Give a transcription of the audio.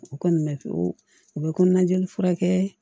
U ko nin mɛn ko u bɛ ko naj'i furakɛ